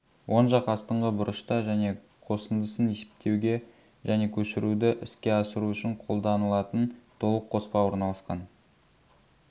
оң жақ астыңғы бұрышта және қосындысын есептеуге және көшіруді іске асыру үшін қолда-нылатын толық қоспа орналасқан